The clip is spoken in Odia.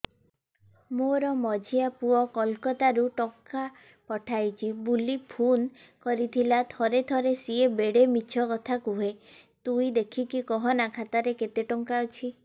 ମୋର ମଝିଆ ପୁଅ କୋଲକତା ରୁ ଟଙ୍କା ପଠେଇଚି ବୁଲି ଫୁନ କରିଥିଲା ଥରେ ଥରେ ସିଏ ବେଡେ ମିଛ କଥା କୁହେ ତୁଇ ଦେଖିକି କହନା ଖାତାରେ କେତ ଟଙ୍କା ଅଛି